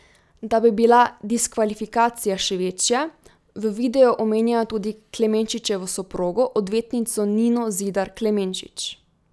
Da bi bila diskvalifikacija še večja, v videu omenjajo tudi Klemenčičevo soprogo odvetnico Nino Zidar Klemenčič.